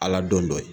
Ala don dɔ ye